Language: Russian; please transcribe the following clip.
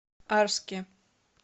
арске